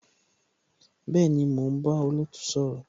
Bẹẹni, mo ń bá olootu sọ̀rọ̀